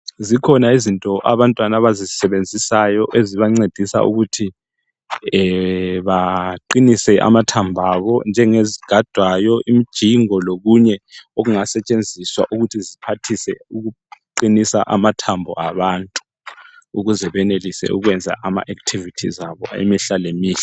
Zikhona izinto abantwana abazisebenzisayo ezibancedisa ukuthi baqinise amathambo abo njengezigadwayo imjingo lokunye okungasetshenziswa ukuthi ziphathise ukuqinisa amathambo abantu ukuze benelise ukwenza ama activities abo imihla lemihla.